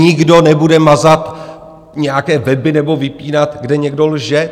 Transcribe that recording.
Nikdo nebude mazat nějaké weby nebo vypínat, kde někdo lže.